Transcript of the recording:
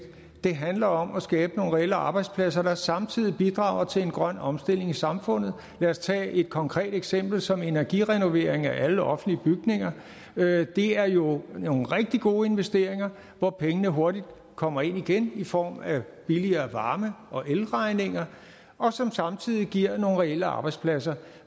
det handler om at skabe nogle reelle arbejdspladser der samtidig bidrager til en grøn omstilling i samfundet lad os tage et konkret eksempel som energirenovering af alle offentlige bygninger det er jo nogle rigtig gode investeringer hvor pengene hurtigt kommer ind igen i form af billigere varme og elregninger og som samtidig giver nogle reelle arbejdspladser